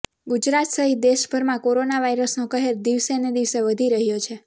ગુજરાત સહિત દેશભરમાં કોરોના વાયરસનો કહેર દિવસે ને દિવસે વધી રહ્યો છે